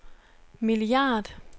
milliard